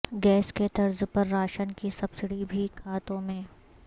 gas کے طرز پر راشن کی سبسڈی بھی کھاتوں میں